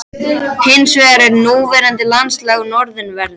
Hins vegar er núverandi landslag á norðanverðu